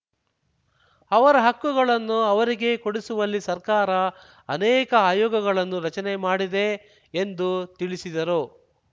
ಅವರ ಹಕ್ಕುಗಳನ್ನು ಅವರಿಗೆ ಕೊಡಿಸುವಲ್ಲಿ ಸರ್ಕಾರ ಅನೇಕ ಆಯೋಗಗಳನ್ನು ರಚನೆ ಮಾಡಿದೆ ಎಂದು ತಿಳಿಸಿದರು